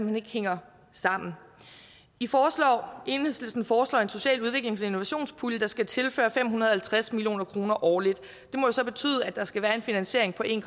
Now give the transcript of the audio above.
hen ikke hænger sammen enhedslisten foreslår en social udviklings og innovationspulje der skal tilføre fem hundrede og halvtreds million kroner årligt og så betyde at der skal være en finansiering på en